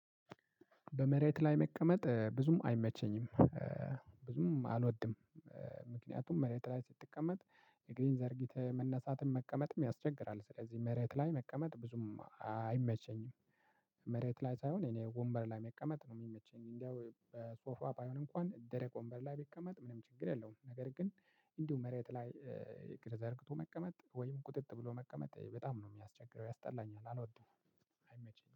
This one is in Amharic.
በመሬት ላይ መቀመጥ ብዙም አይመቸኝም ብዙም አልወድም ምክንያቱም መሬት ላይ ስትቀመጥ እግርህን ዘርግተህ መነሳትም መቀመጥም ያስቸግራል ስለዚህ መሬት ላይ መቀመጥ ብዙም አይመቸኝም መሬት ላይ ሳይሆን እኔ ወንበር ላይ መቀመጥ ነው ሚመቸኝ። እንደው በሶፋ ባይሆን እንኳን ደረቅ ወንበር ላይ ቢቀመጥ ምንም ችግር የለውም። ነገር ግን እንዲሁ መሬት ላይ እግር ዘርግቶ መቀመጥ ወይም ቁጥጥ ብሎ መቀመጥ በጣም ነው የሚያስቸግረው ያስጠላኛል አልወደኝም አይመቸኝም።